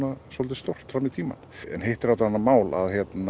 stórt fram í tímann hitt er annað mál að